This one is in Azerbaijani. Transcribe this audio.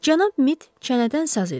Cənab Mid çənədən saz idi.